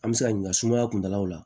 An bɛ se ka ɲininka sumaya kuntalaw la